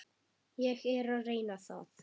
Ég er að reyna það.